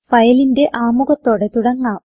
ഫയലിന്റെ ആമുഖത്തോടെ തുടങ്ങാം